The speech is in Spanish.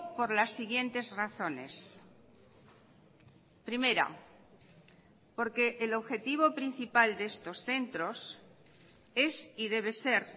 por las siguientes razones primera porque el objetivo principal de estos centros es y debe ser